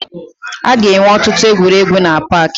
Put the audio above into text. Aga enwe ọtụtụ egwuregwu na paakị